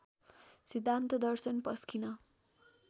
सिद्धान्त दर्शन पस्किन